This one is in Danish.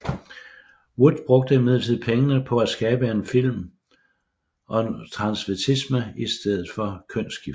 Wood brugte imidlertid pengene på at skabe en film om transvestisme i stedet for kønsskifte